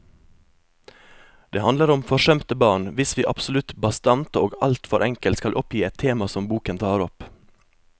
Det handler om forsømte barn, hvis vi absolutt bastant og alt for enkelt skal oppgi et tema som boken tar opp.